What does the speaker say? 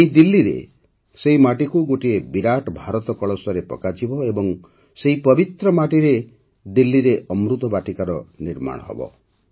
ଏହି ଦିଲ୍ଲୀରେ ସେହି ମାଟିକୁ ଗୋଟିଏ ବିରାଟ ଭାରତ କଳସରେ ପକାଯିବ ଏବଂ ସେହି ପବିତ୍ର ମାଟିରେ ଦିଲ୍ଲୀରେ ଅମୃତ ବାଟିକାର ନିର୍ମାଣ ହେବ